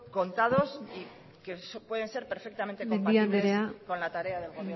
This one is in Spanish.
contados y que pueden ser perfectamente compatibles con la tarea del